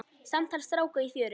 Samtal stráka í fjöru